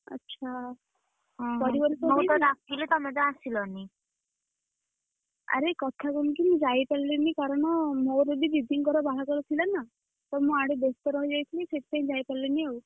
ଆଚ୍ଛା, ଆରେ କଥା କଣ କି ମୁଁ ଯାଇପାରିଲିନି କାରଣ ମୋର ବି ଦିଦିଙ୍କର ବାହାଘର ଥିଲା ନା, ତ ମୁଁ ଆଡେ ବ୍ୟସ୍ତ ରହି ଯାଇଥିଲି। ସେଇଠି ପାଇଁ ଯାଇପାରିଲିନିଆଉ।